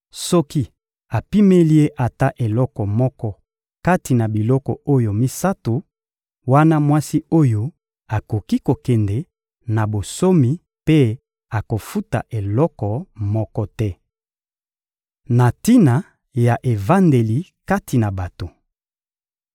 Soki apimeli ye ata eloko moko kati na biloko oyo misato, wana mwasi oyo akoki kokende na bonsomi mpe akofuta eloko moko te. Na tina na evandeli kati na bato